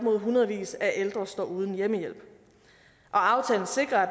at hundredvis af ældre står uden hjemmehjælp og aftalen sikrer at